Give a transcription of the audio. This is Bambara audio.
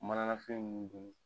Manala fɛn ninnu donni